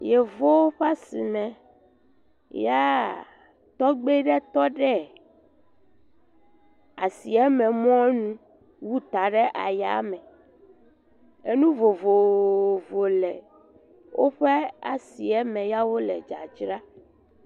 Yevuwo ƒe asime ya tɔgbe ɖe tɔ ɖe asieme mɔ nu wu ta ɖe ayame, enu vovovovowo le woƒe asime ya wole dzadzra.